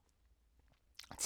TV 2